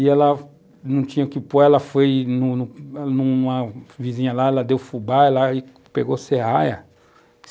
e ela não tinha o que pôr, ela foi num numa vizinha lá, ela deu fubá lá e pegou serraia.